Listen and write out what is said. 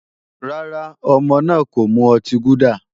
Rárá, ọmọ náà kò mu ọtí gúdà